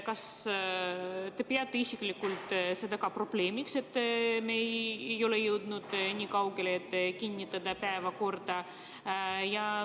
Kas te peate isiklikult seda probleemiks, et me ei ole jõudnud nii kaugele, et kinnitada päevakorda?